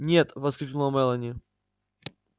нет воскликнула мелани